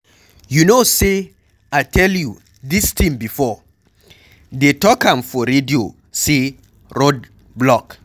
You know say I tell you dis thing before, dey talk am for radio say road block.